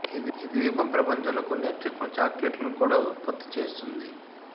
ఈ ద్వీపం ప్రపంచంలోని కొన్ని అత్యుత్తమ చాక్లెట్లను కూడా ఉత్పత్తి చేస్తుంది